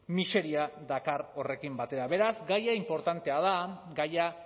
miseria dakar horrekin batera beraz gaia inportantea da gaia